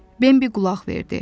Bembi qulaq verdi.